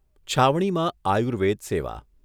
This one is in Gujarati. છાવણીમાં આયુર્વેદ સેવા